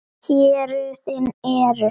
Héruðin eru